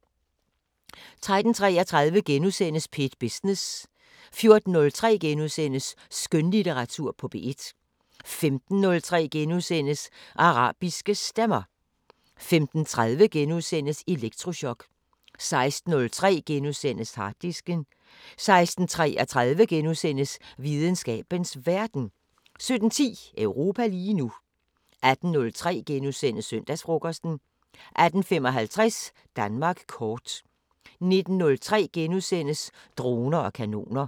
13:33: P1 Business * 14:03: Skønlitteratur på P1 * 15:03: Arabiske Stemmer * 15:30: Elektrochok * 16:03: Harddisken * 16:33: Videnskabens Verden * 17:10: Europa lige nu 18:03: Søndagsfrokosten * 18:55: Danmark kort 19:03: Droner og kanoner *